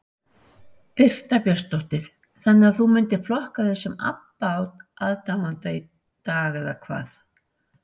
Birta Björnsdóttir: Þannig að þú myndir flokka þig sem Abba aðdáanda í dag eða hvað?